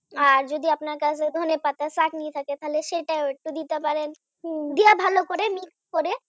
আর যদি আপনার কাছে ধনেপাতার চাটনি থাকে তাহলে সেটাও একটু দিতে পারেন হম দিয়া ভালো করে mix করে